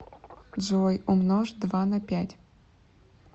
джой умножь два на пять